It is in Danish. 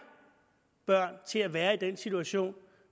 børn til at være i den situation